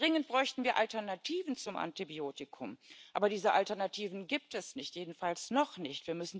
Dringend bräuchten wir Alternativen zum Antibiotikum. Aber diese Alternativen gibt es nicht, jedenfalls noch nicht.